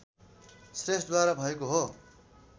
श्रेष्ठद्वारा भएको हो